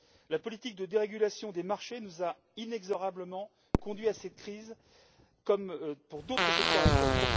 La politique de dérégulation des marchés nous a inexorablement conduits à cette crise, comme pour d'autres secteurs agricoles.